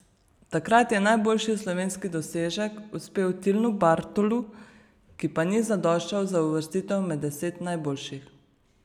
Takrat je najboljši slovenski dosežek uspel Tilnu Bartolu, ki pa ni zadoščal za uvrstitev med deset najboljših.